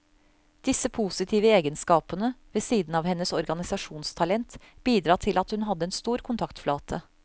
Disse positive egenskapene, ved siden av hennes organisasjonstalent, bidro til at hun hadde en stor kontaktflate.